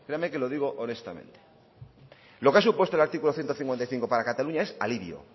créame que lo digo honestamente lo que ha supuesto el artículo ciento cincuenta y cinco para cataluña es alivio